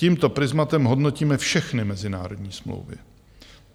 Tímto prizmatem hodnotíme všechny mezinárodní smlouvy.